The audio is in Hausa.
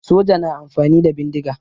Soja na amfani da bindiga